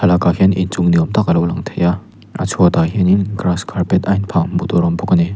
lakah hian inchung ni awm tak a lo lang thei a a chhuatah hianin grass carpet a in phah hmuh tur a awm bawk a ni.